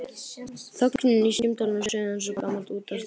Þögnin í símtólinu suðaði eins og gamalt útvarpstæki.